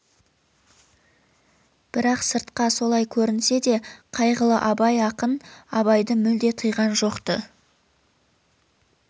бірақ сыртқа солай көрінсе де қайғылы абай ақын абайды мүлде тыйған жоқ-ты